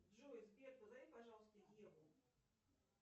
джой сбер позови пожалуйста еву